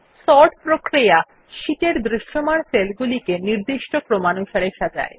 sorting sheet এর দৃশ্যমান সেলগুলিকে নির্দিষ্ট ক্রমানুসারে সাজায়